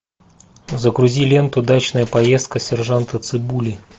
загрузи ленту дачная поездка сержанта цыбули